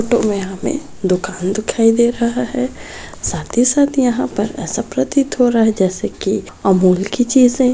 photo में हमे दुकान दिखाई दे रहा है साथ ही साथ यहां पर ऐसा प्रतीत हो रहा है जैसे की अमूल की चीजें --